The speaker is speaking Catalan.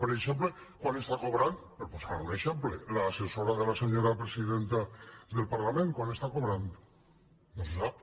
per exemple quant està cobrant per posar un exemple l’assessora de la senyora presidenta del parlament quant està cobrant no se sap